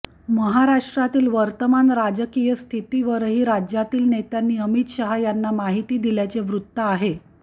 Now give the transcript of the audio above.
महाराष्ट्रातील वर्तमान राजकीय स्थितीवरही राज्यातील नेत्यांनी अमित शहा यांना माहिती दिल्याचे वृत्त आहे